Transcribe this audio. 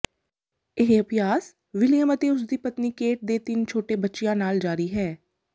ਇਹ ਅਭਿਆਸ ਵਿਲੀਅਮ ਅਤੇ ਉਸਦੀ ਪਤਨੀ ਕੇਟ ਦੇ ਤਿੰਨ ਛੋਟੇ ਬੱਚਿਆਂ ਨਾਲ ਜਾਰੀ ਹੈ